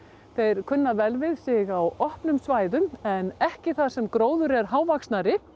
þeir kunna vel við sig á opnum svæðum en ekki þar sem gróður er hávaxinn